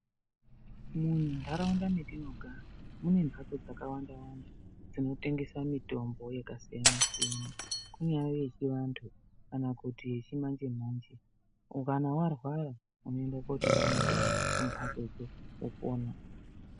Munharaunda metinogara mune mhatso dzakawanda-wanda dzinotengesa mutombo yakasiyana-siyana. Kunyaye chivantu kana kuti yechimanje-manje ukane varwara unoenda kotenga mutombo kumhatso idzodzo wopona.